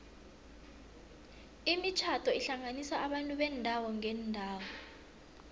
imitjhado ihlanganisa abantu beendawo ngeendawo